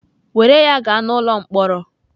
Were ya gaa n'ụlọ mkpọrọ!